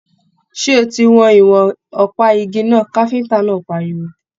Ṣé o tí wọn ìwọ̀n ọpa ìgi náà! káfíntà náà páríwó.